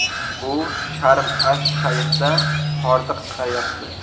U Sharm-ash-Shayxda hordiq chiqaryapti.